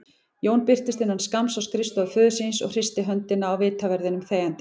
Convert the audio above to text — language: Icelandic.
Jón birtist innan skamms á skrifstofu föður síns og hristi höndina á vitaverðinum þegjandi.